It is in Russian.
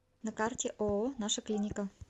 на карте ооо наша клиника